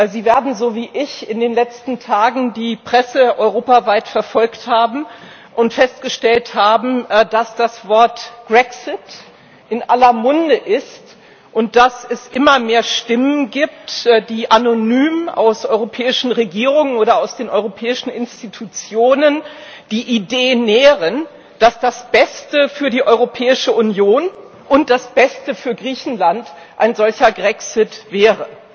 Sie werden, so wie ich, in den letzten Tagen die Presse europaweit verfolgt und festgestellt haben, dass das Wort Grexit in aller Munde ist und dass es immer mehr Stimmen gibt, die anonym aus europäischen Regierungen oder aus den europäischen Institutionen die Idee nähren, dass das Beste für die Europäische Union und das Beste für Griechenland ein solcher Grexit wäre.